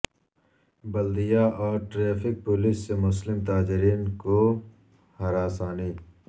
بلدیہ اور traffic police سے مسلم تاجرین کو ہراسانی